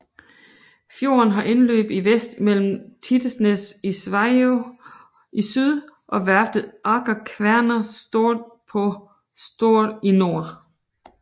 Fjorden har indløb i vest mellem Tittelsnes i Sveio i syd og værftet Aker Kværner Stord på Stord i nord